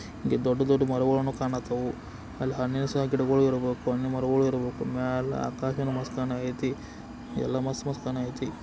ಇಲ್ಲಿ ದೊಡ್ಡ ದೊಡ್ಡ ಮರಗಳು ಕಾಣಕತಾವು ಅಲ್ಲಿ ಹಣ್ಣುಗಳ ಸಹ ಗಿಡಗಳು ಇರಬೇಕು ಹಣ್ಣು ಮರಗಳು ಇರಬೇಕು ಮ್ಯಾಲೆ ಆಕಾಶ ಮಸ್ತ್ ಕಾಣಕತ್ತಿ ಎಲ್ಲ ಮಸ್ತ್ ಮಸ್ತು ಕಣತೈತಿ.